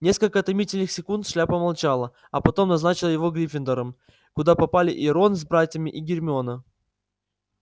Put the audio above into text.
несколько томительных секунд шляпа молчала а потом назначила ему гриффиндор куда попали и рон с братьями и гермиона